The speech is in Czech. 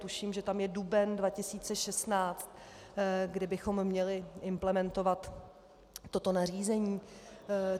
Tuším, že tam je duben 2016, kdy bychom měli implementovat toto nařízení.